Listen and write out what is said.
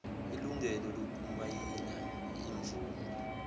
ilungelo lokumayina imvume